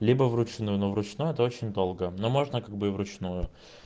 либо вручную но вручную это очень долго но можно как бы и вручную